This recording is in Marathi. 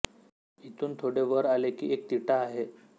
इथून थोडे वर आले की एक तिठा आहे